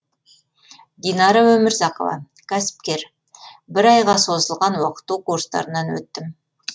динара өмірзақова кәсіпкер бір айға созылған оқыту курстарынан өттім